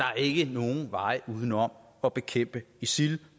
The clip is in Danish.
er ikke nogen vej uden om at bekæmpe isil